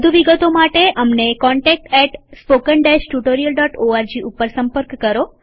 વધુ વિગતો માટે અમને contactspoken tutorialorg ઉપર સંપર્ક કરો